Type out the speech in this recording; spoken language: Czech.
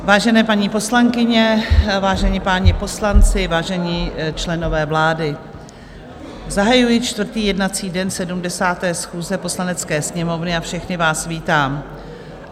Vážené paní poslankyně, vážení páni poslanci, vážení členové vlády, zahajuji čtvrtý jednací den 70. schůze Poslanecké sněmovny a všechny vás vítám.